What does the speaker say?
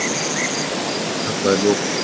Ráðherra afturkallaði lokun